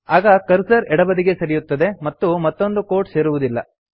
ಆಗ ಕರ್ಸರ್ ಎಡಬದಿಗೆ ಸರಿಯುತ್ತದೆ ಮತ್ತು ಮತ್ತೊಂದು ಕೋಟ್ ಸೇರುವುದಿಲ್ಲ